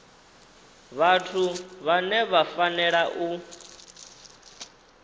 vhathu vhane vha fanela u